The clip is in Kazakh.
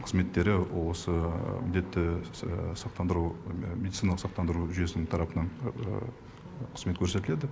қызметтері осы міндетті сақтандыру медициналық сақтандыру жүйесінің тарапынан қызмет көрсетіледі